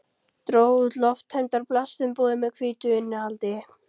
Dró út lofttæmdar plastumbúðir með hvítu innihaldi.